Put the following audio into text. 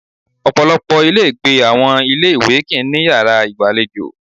Ọ̀pọ̀lọpọ̀ ilé ìgbé àwọn ọmọ ilé ìwé kì ń ní yàrá ìgbàlejò.